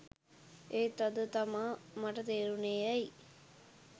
එත් අද තමා මට තේරුනේ ඇයි